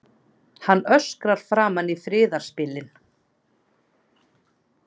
Hann öskrar framan í friðarspillinn.